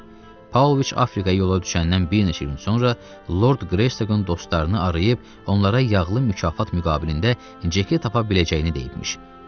Paulviç Afrikaya yola düşəndən bir neçə gün sonra Lord Greystakın dostlarını arayıb onlara yağlı mükafat müqabilində Ceki tapa biləcəyini deyibmiş.